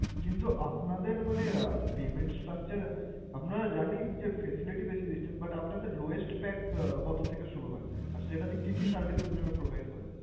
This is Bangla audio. কিন্তু আপনাদের মানে আহ payment structure আমরা জানি যে facility বেশি দিচ্ছেন but আপনাদের lowest pack কত থেকে শুরু হয়? আর সেটাতে কি কি service আপনারা provide করেন?